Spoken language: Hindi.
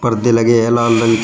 परदे लगे हैं लाल रंग के।